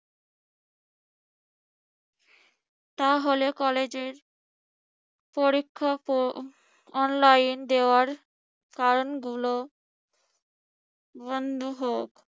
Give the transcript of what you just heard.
তাহলে কলেজের পরীক্ষকও online দেওয়ার কারণগুলো বন্ধ হোক।